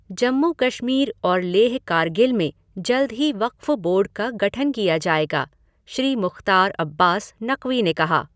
जम्मू कश्मीर और लेह कारगिल में जल्द ही वक़्फ़ बोर्ड का गठन किया जाएगा, श्री मुख़्तार अब्बास नक़वी ने कहा।